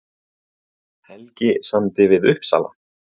Helgi samdi við Uppsala